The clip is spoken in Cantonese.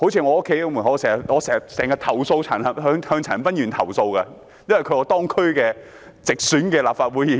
我經常就垃圾問題向陳恒鑌議員投訴，因為他是我區直選的立法會議員。